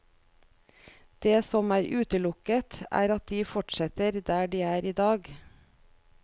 Det som er utelukket, er at de fortsetter der de er i dag.